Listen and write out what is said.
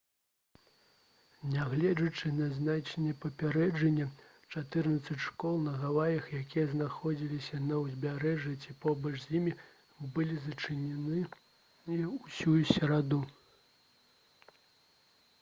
нягледзячы на зняцце папярэджанняў чатырнаццаць школ на гаваях якія знаходзяцца на ўзбярэжжы ці побач з ім былі зачыненыя ўсю сераду